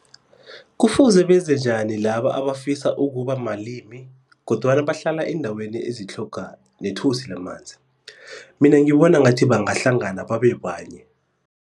Kufuze benze njani laba abafisa ukuba malimi kodwana bahlala eendaweni ezitlhoga nethosi lamanzi? Mina ngibona ngathi bangahlangana babe banye